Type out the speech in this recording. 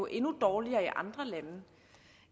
endnu dårligere i andre lande